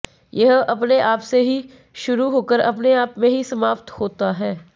यह अपने आप से ही शुरू होकर अपने आप में ही समाप्त होता है